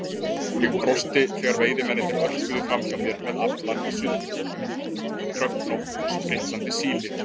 Ég brosti þegar veiðimennirnir örkuðu framhjá mér með aflann í sultukrukkunum, dröfnótt, spriklandi síli.